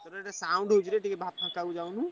ତୋର ସେଠି sound ହଉଛି ରେ ଟିକେ ଫାଙ୍କ କୁ ଯାଉନୁ।